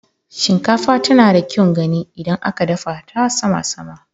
Shinkafa tana da kyaun gani idan aka dafa ta sama-sama.